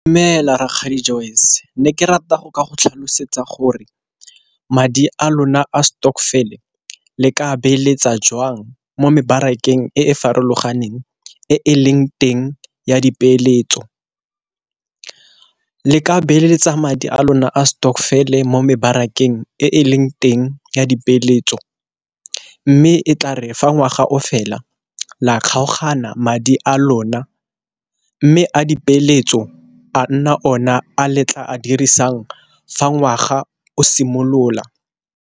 Dumela rakgadi Joyce ne ke rata go ka go tlhalosetsa gore madi a lona a stokvel le ka beeletsa jwang, mo mebarakeng e e farologaneng e e leng teng ya dipeeletso. Le ka beeletsa madi a lona a stokvel mo mebarakeng e e leng teng ya dipeeletso mme e tla re fa ngwaga o fela la kgaogana madi a lona, mme a dipeeletso a nna ona a letla a dirisang fa ngwaga o simolola.